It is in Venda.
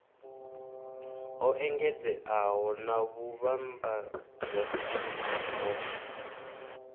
ho engedzeaho na vhuvhambadzaseli ho